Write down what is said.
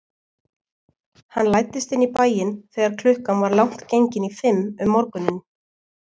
Hann læddist inn í bæinn þegar klukkan var langt gengin í fimm um morguninn.